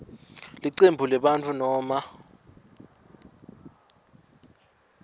licembu lebantfu noma